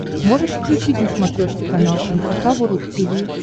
можешь включить на смотрешке канал эн эйч кей волд ти ви